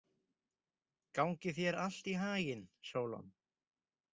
Gangi þér allt í haginn, Sólon.